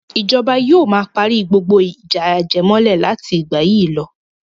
Ìjọba yóò ma parí gbogbo ìjà ajẹmọ́lẹ̀ láti ìgbà yìí lọ.